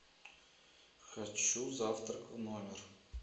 хочу завтрак в номер